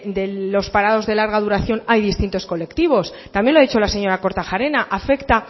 de los parados de larga duración hay distintos colectivos también lo ha dicho la señora kortajarena afecta